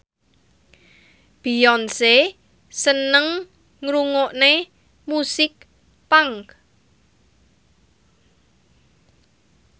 Beyonce seneng ngrungokne musik punk